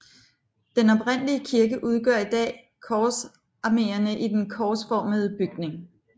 Den oprindelige kirke udgør i dag korsarmene i den korsformede bygning